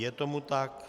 Je tomu tak.